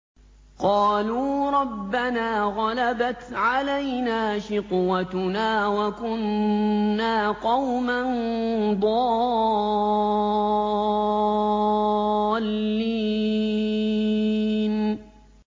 قَالُوا رَبَّنَا غَلَبَتْ عَلَيْنَا شِقْوَتُنَا وَكُنَّا قَوْمًا ضَالِّينَ